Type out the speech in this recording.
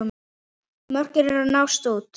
Mörkin eru að mást út.